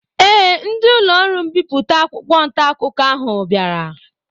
Ee, ndị ụlọọrụ mbipụta akwụkwọ ntaakụkọ ahụ bịara